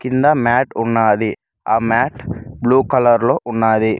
కింద మ్యాట ఉన్నది ఆ మ్యాట్ బ్లూ కలర్ లో ఉన్నది.